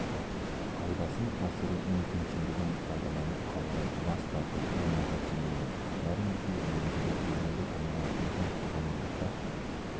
пайдасын асыру мүмкіншілігін пайдаланып қалудан бас тарту оңайға тимейді бәрімізге белгілі бүгінгі таңда біздің қоғамымызда